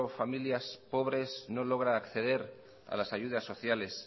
familias pobres no logra acceder a las ayudas sociales